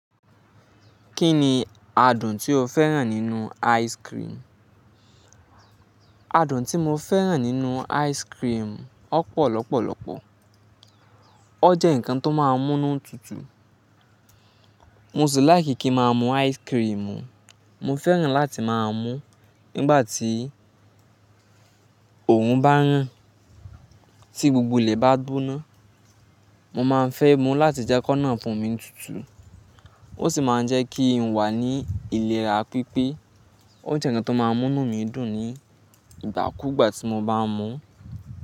Kí ni adùn tí o fẹ́ràn nínú ice cream? Adùn tí mo fẹ́ràn nínú ice cream, ọ́pọ̀ lọ́pọ̀lọ́pọ̀. O jẹ́ ǹkan tó máa ń mú nù tutù. Mo sì like kí n ma mú ice cream, mo fẹ́ràn láti máa mú nígbà tí òòrùn bá ràn, tí gbogbo ilẹ̀ bá gbóná. Mo máa ń fẹ́ mú láti jẹ́ kó nà ọfún mi tutù. Ó sì máa ń jẹ́ kí n wà ní ìlera pípé. O jẹ́ ǹkan tó máa ń mú nù mí dùn nígbà kúgbà tí mo bá mu.